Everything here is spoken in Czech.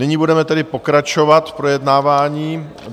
Nyní budeme tedy pokračovat v projednávání.